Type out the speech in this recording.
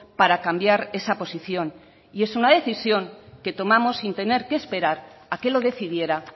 para cambiar esa posición y es una decisión que tomamos sin tener que esperar a que lo decidiera